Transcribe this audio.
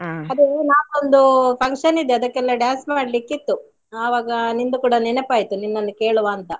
ಆಯ್ತ್ ಆಯ್ತ್ ಆಯ್ತ್. ಅದು ನಾವೊಂದು function ಇದೆ ಅದಕ್ಕೆಲ್ಲಾ dance ಮಾಡ್ಲಿಕ್ಕೆ ಇತ್ತು ಆವಾಗ ನಿಂದು ಕೂಡ ನೆನಪಾಯಿತು ನಿನ್ನನ್ನು ಕೇಳುವಾಂತ.